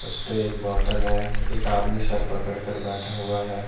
इसपे एक हैएक आदमी सर पकड़ कर बैठा हुआ है।